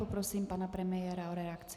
Prosím pana premiéra o reakci.